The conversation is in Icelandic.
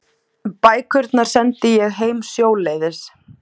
Bækurnar sendi ég heim sjóleiðis.